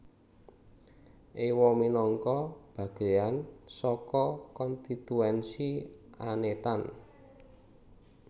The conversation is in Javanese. Ewa minangka bagéan saka konstituensi Anetan